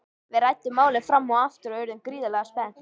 Við ræddum málið fram og aftur og urðum gríðarlega spennt.